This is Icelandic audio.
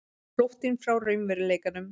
Flóttinn frá raunveruleikanum.